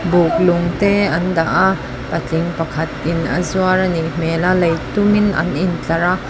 buk lung te an dah a patling pakhatin a zuar a nih hmel a lei tumin an intlar a.